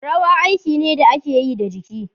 Rawa aiki ne da ake yi da jiki.